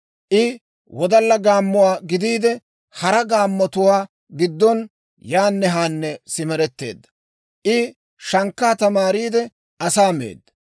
I wodalla gaammuwaa gidiide, hara gaammotuwaa giddon, yaanne haanne simeretteedda. I shankkaa tamaariide, asaa meedda.